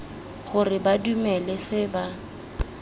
gore ba dumele se ba